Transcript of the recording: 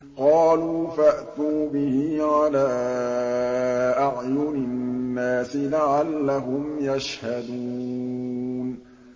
قَالُوا فَأْتُوا بِهِ عَلَىٰ أَعْيُنِ النَّاسِ لَعَلَّهُمْ يَشْهَدُونَ